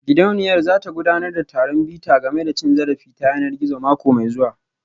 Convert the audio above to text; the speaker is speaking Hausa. Gidauniyar za ta gudanar da taron bita game da cin zarafi ta yanar gizo mako mai zuwa